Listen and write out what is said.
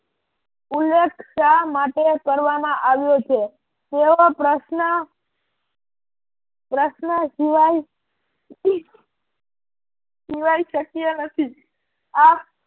ઉલ્લેખ શા માટે કરવા માં આવ્યો છે તેવો પ્રશ્ર્ન પ્રશ્ર્ન સિવાય સિવાય શક્ય નથી આમ